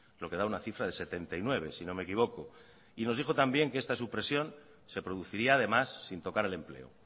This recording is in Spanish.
lo que da una cifra de setenta y nueve si no me equivoco y nos dijo también que esta supresión se produciría además sin tocar el empleo